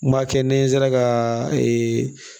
N b'a kɛ ni n sera ka ee